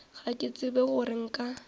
ga ke tsebe gore nka